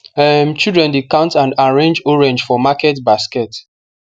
um children dey count and arrange orange for market basket